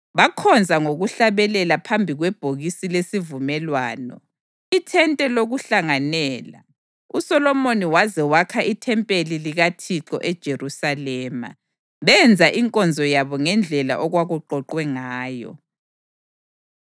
Bakhonza ngokuhlabelela phambi kwebhokisi lesivumelwano, iThente lokuHlanganela, uSolomoni waze wakha ithempeli likaThixo eJerusalema. Benza inkonzo yabo ngendlela okwakuqoqwe ngayo.